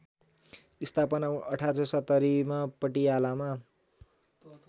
स्‍थापना १८७०मा पटियालामा